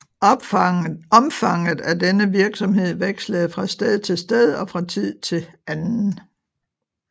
Omfanget af denne virksomhed vekslede fra sted til sted og fra tid til anden